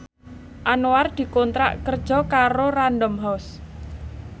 Anwar dikontrak kerja karo Random House